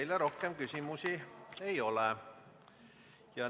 Teile rohkem küsimusi ei ole.